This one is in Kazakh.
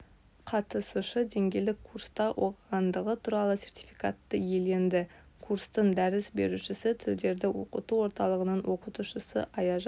қатысушы деңгейлік курста оқығандығы туралы сертификатты иеленді курстың дәріс берушісі тілдерді оқыту орталығының оқытушысы аяжан